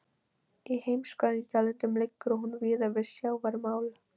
Í heimskautalöndum liggur hún víða við sjávarmál.